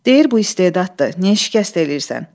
Deyir bu istedaddır, niyə şikəst eləyirsən?